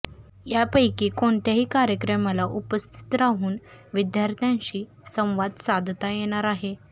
यापैकी कोणत्याही कार्यक्रमाला उपस्थित राहून विद्यार्थ्यांशी संवाद साधता येणार आहे